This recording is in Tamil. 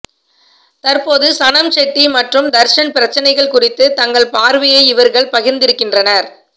தற்போது சனம் ஷெட்டி மற்றும் தர்ஷன் பிரச்சனைகள் குறித்து தங்கள் பார்வையை இவர்கள் பகிர்ந்திருக்கின்றனர்